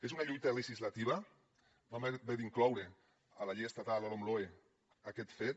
és una lluita legislativa vam haver d’incloure a la llei estatal la lomloe aquest fet